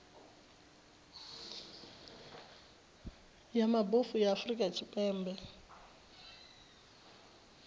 ya mabofu ya afrika tshipembe